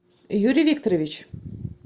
юрий викторович